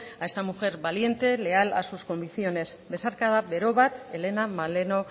a esta mujer valiente leal a sus convicciones besarkada bero bat helena maleno